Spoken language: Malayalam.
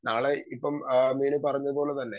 സ്പീക്കർ 2 നാളെ ഇപ്പം അഹ് മീനു പറഞ്ഞ പോലെ തന്നെ